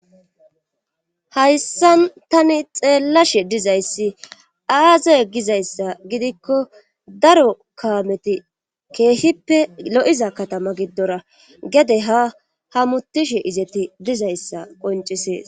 hayssan tani xeellashe dizayssi aazey gizayssa gidikko daro kaameti keehippe lo7iza katama giddora gede ha ha mutishe izeti dizayssa qoncisees